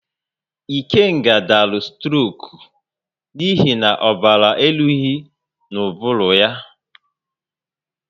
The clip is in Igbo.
Ikenga dara stroku n'ihi na ọbara eruhizi n'ubulu ya